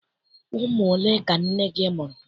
Ụmụ ole ka nne gị mụrụ?